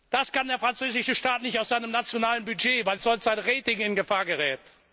Das kann der französische Staat nicht aus seinem nationalen Budget, weil sonst sein Rating in Gefahr gerät.